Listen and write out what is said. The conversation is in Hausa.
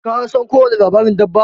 Ka san ko wani labarin dabba?